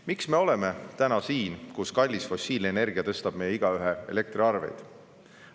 Miks me oleme praegu kohas, kus kallis fossiilenergia tõstab meist igaühe elektriarveid?